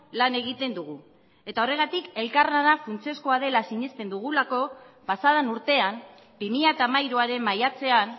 lan egiten dugu eta horregatik elkarlana funtsezkoa dela sinesten dugulako pasa den urtean bi mila hamairuaren maiatzean